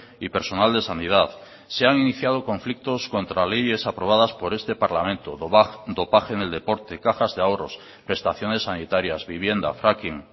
y personal de sanidad se han iniciado conflictos contra leyes aprobadas por este parlamento dopaje en el deporte cajas de ahorros prestaciones sanitarias vivienda fracking